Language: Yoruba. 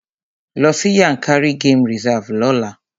Lọ sí Yankari game reserve lọ́la!